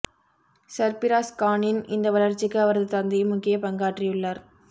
சர்பிராஸ் கானின் இந்த வளர்ச்சிக்கு அவரது தந்தையும் முக்கிய பங்காற்றியுள்ளார்